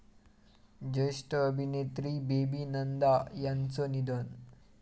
ज्येष्ठ अभिनेत्री बेबी नंदा यांचं निधन